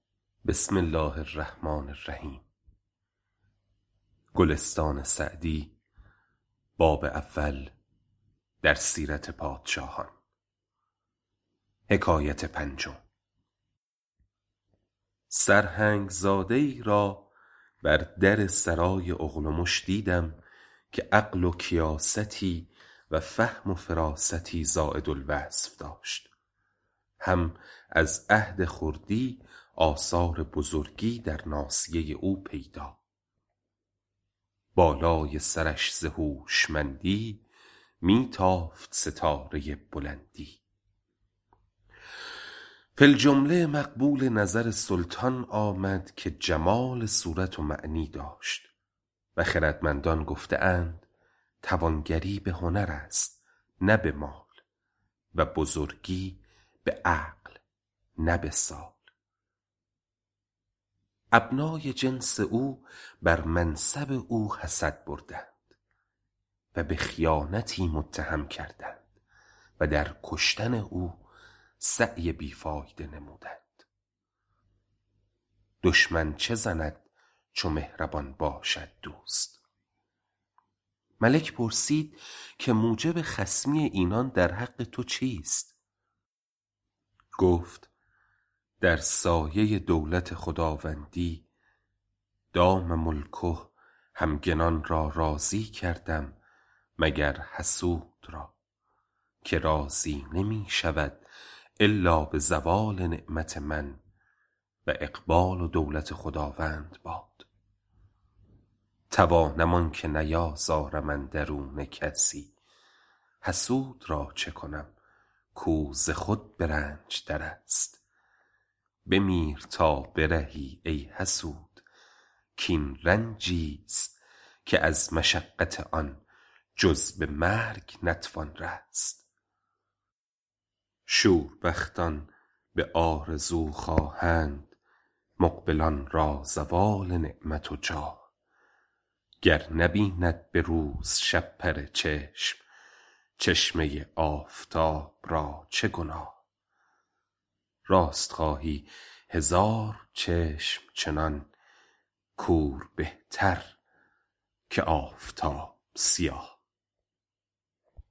سرهنگ زاده ای را بر در سرای اغلمش دیدم که عقل و کیاستی و فهم و فراستی زاید الوصف داشت هم از عهد خردی آثار بزرگی در ناصیه او پیدا بالای سرش ز هوشمندی می تافت ستاره بلندی فی الجمله مقبول نظر سلطان آمد که جمال صورت و معنی داشت و خردمندان گفته اند توانگری به هنر است نه به مال و بزرگی به عقل نه به سال ابنای جنس او بر منصب او حسد بردند و به خیانتی متهم کردند و در کشتن او سعی بی فایده نمودند دشمن چه زند چو مهربان باشد دوست ملک پرسید که موجب خصمی اینان در حق تو چیست گفت در سایه دولت خداوندی دام ملکه همگنان را راضی کردم مگر حسود را که راضی نمی شود الا به زوال نعمت من و اقبال و دولت خداوند باد توانم آنکه نیازارم اندرون کسی حسود را چه کنم کو ز خود به رنج در است بمیر تا برهی ای حسود کاین رنجی ست که از مشقت آن جز به مرگ نتوان رست شوربختان به آرزو خواهند مقبلان را زوال نعمت و جاه گر نبیند به روز شپره چشم چشمه آفتاب را چه گناه راست خواهی هزار چشم چنان کور بهتر که آفتاب سیاه